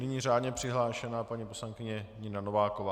Nyní řádně přihlášená paní poslankyně Nina Nováková.